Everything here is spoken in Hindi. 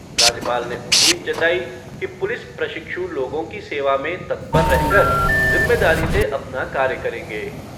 राज्यपाल ने उम्मीद जताई कि पुलिस प्रशिक्षु लोगों की सेवा में तत्पर रह कर जिम्मेदारी से अपना कार्य करेंगे।